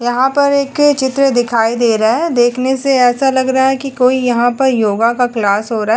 यहाँ पर एक चित्र दिखाई दे रहा है देखने से ऐसे लग रहा है की यहाँ कोई यहा पर योगा का क्लास हो रहा है।